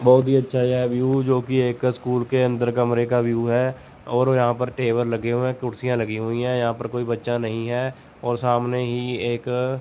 बहुत ही अच्छा यह व्यू जोकि एक स्कूल के अंदर कमरे का व्यू है और यहां पर टेबल लगे हुए हैं कुर्सियां लगी हुई हैं यहां पर कोई बच्चा नहीं हैं और सामने ही एक --